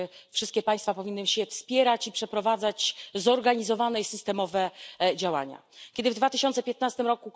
Wszystkie państwa powinny się wspierać i przeprowadzać zorganizowane i systemowe działania. Kiedy w 2015 r.